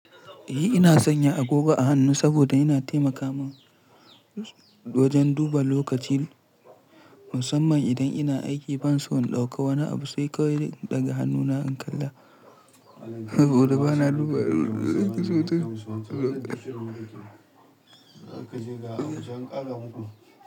Ina sanya agogo a hannu saboda yana taimaka min wajen duba lokaci, musamman idan ina aiki ban so in ɗauka wani abu sai kawai daga hannuna in kalla saboda bana duba lokaci sosai.